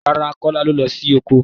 Rárá Kọ́lá lo lọ sí oko.